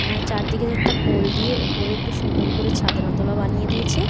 উমম চারদিকে একটা পল দিয়া উপর একটু সুন্দর করা ছাদনাতালা বানিয়ে দিয়েছে।